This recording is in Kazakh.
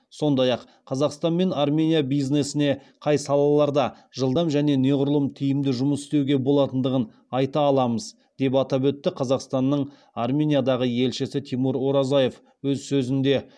сондай ақ қазақстан мен армения бизнесіне қай салаларда жылдам және неғұрлым тиімді жұмыс істеуге болатындығын айта аламыз деп атап өтті қазақстанның армениядағы елшісі тимур оразаев өз сөзінде